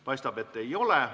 Paistab, et ei ole.